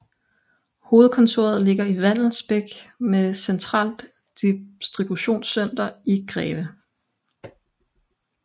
Hovedkontoret ligger i Vallensbæk med centralt distributionscenter i Greve